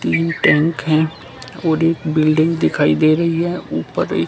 तीन टैंक है कोड़ी बिल्डिंग दिखाई दे रही है ऊपर ये--